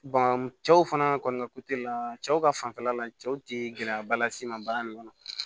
cɛw fana kɔni ka la cɛw ka fanfɛla la cɛw tɛ gɛlɛyaba las'i ma baara in kɔnɔ